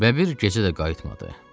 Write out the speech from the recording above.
Və bir gecə də qayıtmadı.